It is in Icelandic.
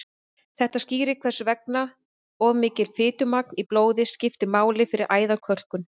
þetta skýrir hvers vegna of mikið fitumagn í blóði skiptir máli fyrir æðakölkun